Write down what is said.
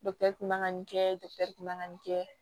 man ka nin kɛ man kan ka nin kɛ